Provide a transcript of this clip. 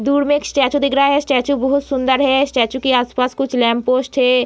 दूर में एक स्टेचू दिख रहा है स्टेचू बहुत सुंदर है स्टेचू के आस-पास कुछ लैंप पोस्ट है।